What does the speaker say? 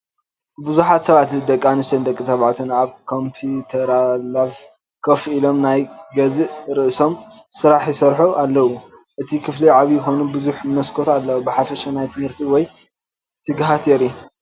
ብዙሓት ሰባት ደቂ ተባዕትዮን ደቂ ኣንስትዮን ኣብ ኮምፒተርላኘ ኮፍ ኢሎም፣ ናይ ገዛእ ርእሶም ስራሕ ይሰርሑ ኣለዉ። እቲ ክፍሊ ዓቢይ ኮይኑ፡ ብዙሕ መስኮት ኣለዎ። ብሓፈሻ ናይ ትምህርቲ ወይ ትግሃት የርኢ።